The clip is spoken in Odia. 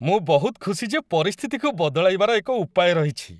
ମୁଁ ବହୁତ ଖୁସି ଯେ ପରିସ୍ଥିତିକୁ ବଦଳାଇବାର ଏକ ଉପାୟ ରହିଛି।